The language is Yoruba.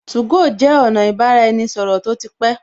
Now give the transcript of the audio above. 2go jẹ́ ọ̀nà ibaraenisoro tó ti pé